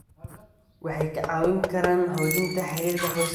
Waxay kaa caawin karaan xoojinta xiriirka qoyska.